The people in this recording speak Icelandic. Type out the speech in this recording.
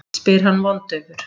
spyr hann vondaufur.